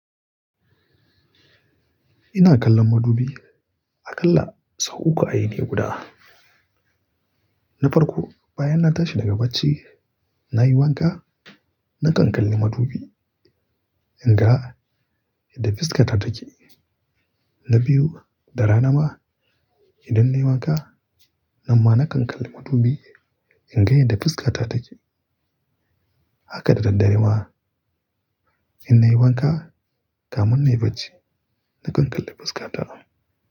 Ina kallon madubi, aƙalla sau uku a yini guda. Na farko, bayan na tashi daga bacci, na yi wanka nakan kalli madubi in ga yadda fuskata take. Na biyu, da rana ma idan nayi wanka, nan ma nakan kalli madubi in ga yadda fuskata take. Haka da daddare ma in nayi wanka, kamun nayi bacci nakan kalli fuskata.